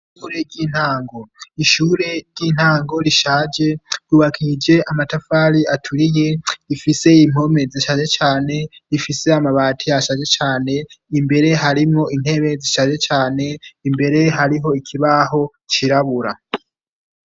Ishure ry'intango rishaje, ryubakishije amatafari aturiye, rifise impome zishaje cane, rifise amabati ashaje cane, imbere harimwo intebe zishaje cane, imbere hariho ikibaho cirabura.